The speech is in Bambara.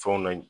Fɛnw na